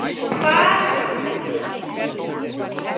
Hvar sem liggur leiðin þín.